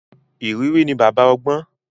Ìrírí ni baba ọgbọ́n.